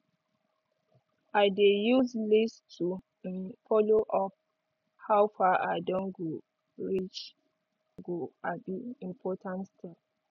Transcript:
i dey use list to um follow up how far i don go reach go um important step